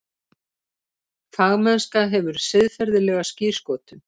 Fagmennska hefur siðferðilega skírskotun.